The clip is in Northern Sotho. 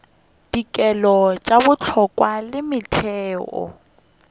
dikelo tše bohlokwa le metheo